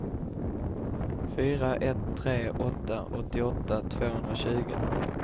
fyra ett tre åtta åttioåtta tvåhundratjugo